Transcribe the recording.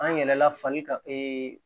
An yɛlɛla falikan